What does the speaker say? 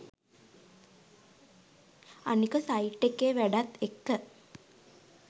අනික සයිට් එකේ වැඩත් එක්ක